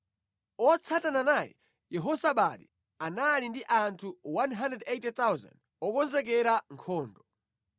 otsatana naye, Yehozabadi, anali ndi anthu 180,000 okonzekera nkhondo.